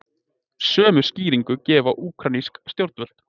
Sömu skýringu gefa úkraínsk stjórnvöld